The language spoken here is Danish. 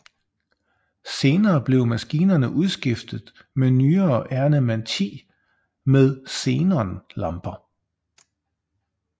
Senere blev maskinerne udskiftet med nyere Ernemann X med xenonlamper